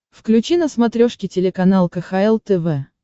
включи на смотрешке телеканал кхл тв